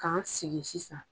K'an sigi sisan